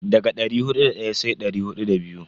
Daga dari hudu da daya sai dari hudu da biyu.